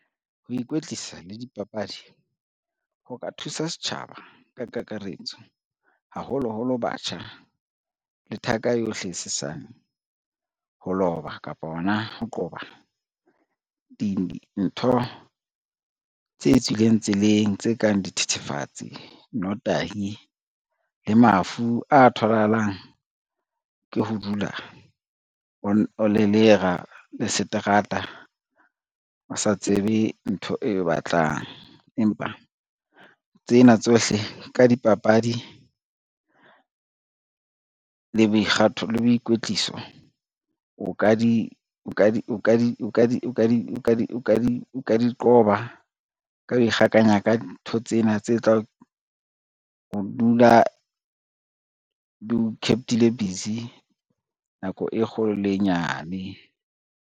Ho ikwetlisa le dipapadi ho ka thusa setjhaba ka kakaretso, haholoholo batjha le thaka yohle e sesane ho loba kapa hona ho qoba dintho tse tswileng tseleng tse kang dithethefatsi, notahi le mafu a tholahalang ke ho dula o lelera le seterata, o sa tsebe ntho eo batlang. Empa tsena tsohle ka dipapadi le boikwetliso o ka di qoba ka ho ikgakanya ka ntho tsena tse tlang ho dula di o kept-ile busy nako e kgolo le e nyane.